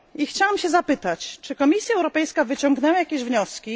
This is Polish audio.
Chciałam zapytać, czy Komisja Europejska wyciągnęła jakieś wnioski?